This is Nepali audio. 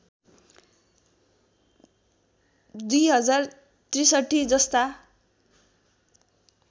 २०६३ जस्ता